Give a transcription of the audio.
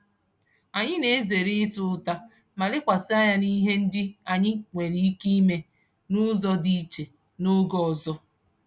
Anyị na-ezere ịta ụta ma lekwasị anya n'ihe ndị anyi nwere ike ime n'ụzọ dị iche n'oge ọzọ.